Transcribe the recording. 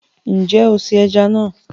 Nje o se eja na